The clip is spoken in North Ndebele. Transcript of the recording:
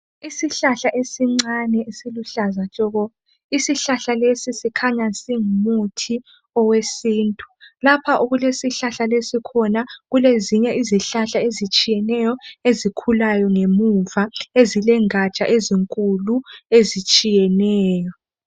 Isihlahla esincane esiluhlaza tshoko isihlahla lesi sikhanya singumuthi owesintu lapha okulesihlahla lesi khona kulezinye izihlahla ezitshiyeneyo ezikhulayo ngemuva ezilengaja ezinkulu ezitshiyeneyo